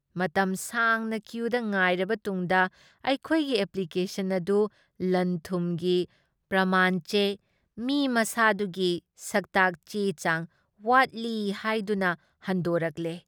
ꯃꯇꯝ ꯁꯥꯡꯅ ꯀ꯭ꯌꯨꯗ ꯉꯥꯏꯔꯕ ꯇꯨꯡꯗ ꯑꯩꯈꯣꯏꯒꯤ ꯑꯦꯄ꯭ꯂꯤꯀꯦꯁꯟ ꯑꯗꯨ ꯂꯟꯊꯨꯝꯒꯤ ꯄ꯭ꯔꯃꯥꯟ ꯆꯦ, ꯃꯤ ꯃꯁꯥꯗꯨꯒꯤ ꯁꯛꯇꯥꯛ ꯆꯦꯆꯥꯡ ꯋꯥꯠꯂꯤ ꯍꯥꯏꯗꯨꯅ ꯍꯟꯗꯣꯔꯛꯂꯦ ꯫